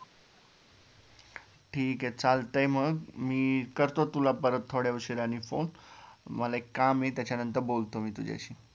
ठीक ये चालतंय मग मी करतो तुला परत थोड्या उशिराने phone मला एक काम ये त्यानंतर बोलतो मी तुझ्याशी